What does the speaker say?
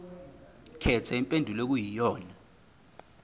khetha impendulo okuyiyona